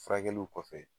Furakɛliw kɔfɛ